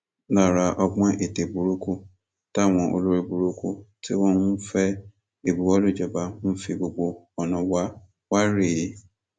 lára àwọn ọgbọn ète burúkú táwọn olórí burúkú tí wọn ń fẹ ìbuwọlù ìjọba ń fi gbogbo ọnà wa wa rèé